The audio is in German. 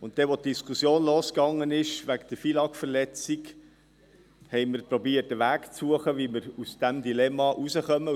Als die Diskussion zur FILAG-Verletzung losging, versuchten wir, einen Weg zu suchen, um aus diesem Dilemma herauszukommen.